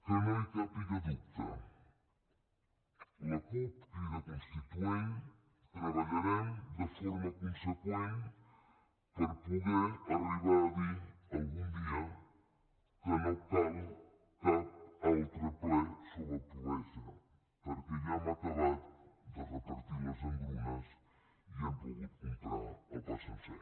que no hi càpiga dubte la cup crida constituent treballarem de forma conseqüent per poder arribar a dir algun dia que no cal cap altre ple sobre pobresa perquè ja hem acabat de repartir les engrunes i hem pogut comprar el pa sencer